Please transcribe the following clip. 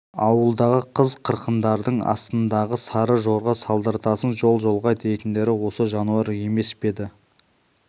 ауылдағы қыз қырқындардың астыңдағы сары жорға салдыртасың жол-жолға дейтіндері осы жануар емес пе еді